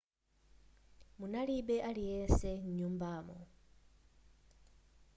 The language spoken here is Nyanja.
munalibe aliyense m'nyumbamo